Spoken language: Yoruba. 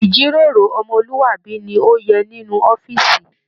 Ijíròrò ọmọluabi ni o yẹ nínú ọ̀fiísí.